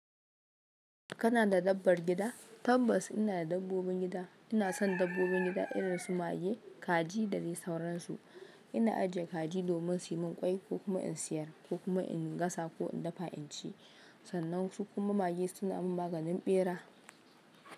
Kana da dabbar gida? Tabbas ina da dabbobin gida. Ina son dabbobin gida irin su mage, kaji da dai sauransu. Ina ajiye kaji domin su yi min ƙwai ko kuma in siyar, ko kuma in gasa ko in dafa in ci. Sannan su kuma mage suna min maganin ɓera.